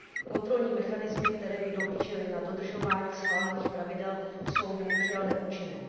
Kontrolní mechanismy, které by dohlížely na dodržování schválených pravidel, jsou bohužel neúčinné.